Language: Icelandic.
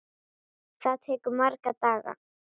Það tekur marga daga!